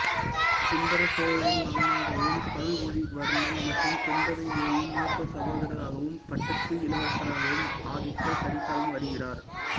சுந்தர சோழரின் மகனாகவும் அருள்மொழிவர்மன் மற்றும் குந்தவை தேவியின் மூத்த சகோதரராகவும் பட்டத்து இளவரசராகவும் ஆதித்த கரிகாலன் வருகிறார்